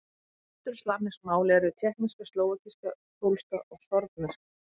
Vesturslavnesk mál eru: tékkneska, slóvakíska, pólska, sorbneska.